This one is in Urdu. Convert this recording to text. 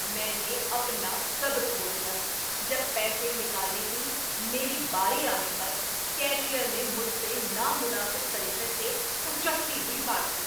میں نے اپنا صبر کھو دیا جب پیسے نکالنے کی میری باری آنے پر کیشیئرنے مجھ سے نامناسب طریقے سے اچٹتی ہوئی بات کی۔